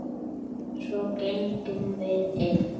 Svo gengum við inn.